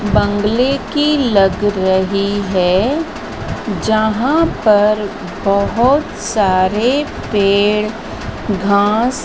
बंगले की लग रही है जहां पर बहुत सारे पेड़ घास--